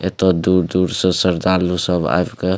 एते दूर-दूर से सरदार लोग सब आयब के --